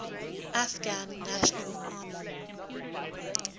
afghan national army